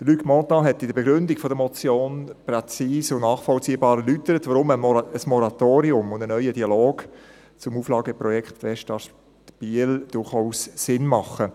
Luc Mentha hat in der Begründung der Motion präzise und nachvollziehbar erläutert, weshalb ein Moratorium und ein neuer Dialog zum Auflageprojekt Westast Biel durchaus Sinn machen.